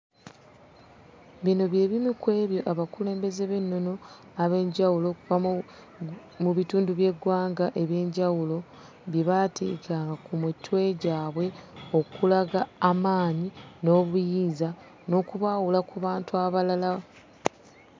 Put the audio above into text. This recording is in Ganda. Bino bye bimu ku ebyo abakulembeze b'ennono ab'enjawulo okuva mu bitundu by'eggwanga eby'enjawulo bye baateekanga ku mitwe gyabwe okulaga amaanyi n'obuyinza n'okubaawula ku bantu abalala.